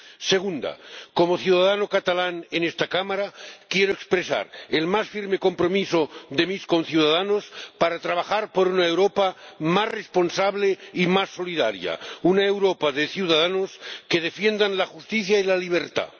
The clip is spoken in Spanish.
Segunda, como ciudadano catalán en esta Cámara, quiero expresar el más firme compromiso de mis conciudadanos para trabajar por una Europa más responsable y más solidaria, una Europa de ciudadanos que defiendan la justicia y la libertad.